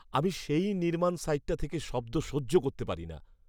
আমি সেই নির্মাণ সাইট থেকে শব্দ সহ্য করতে পারি না।